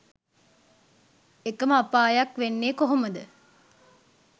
එක ම අපායක් වෙන්නෙ කොහොම ද